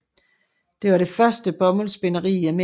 Det var det første bomuldsspinderi i Amerika